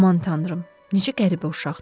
Aman tanrım, necə qəribə uşaqdır!